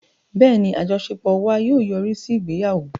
Bẹ́ẹ̀ni, àjọṣepọ̀ wa yóò yọrí sí ìgbéyàwó